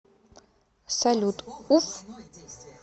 салют уф